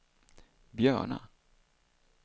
Björna